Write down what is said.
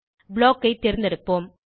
block ஐ தேர்ந்தெடுப்போம்